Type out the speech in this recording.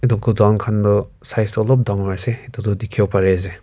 itu godown khan tu size toh olop dangor ase itudu dikhi wole pari ase.